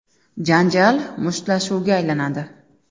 Janjal mushtlashuvga aylanadi.